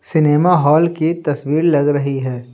Cinema hall की तस्वीर लग रही है।